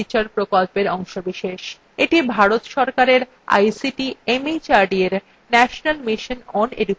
এটি ভারত সরকারের ict mhrd এর national mission on education দ্বারা সমর্থিত